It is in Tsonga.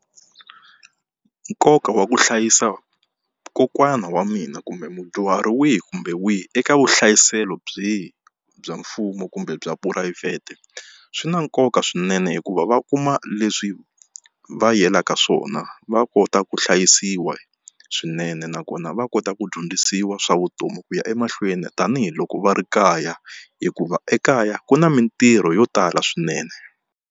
Nkoka wa ku hlayisa kokwana wa mina kumbe mudyuhari wihi kumbe wihi eka vuhlayiselo byihi bya mfumo kumbe bya phurayivhete swi na nkoka swinene hikuva va kuma leswi va yelaka swona va kota ku hlayisiwa swinene nakona va kota ku dyondzisiwa swa vutomi ku ya emahlweni tanihiloko va ri kaya hikuva ekaya ku na mitirho yo tala swinene.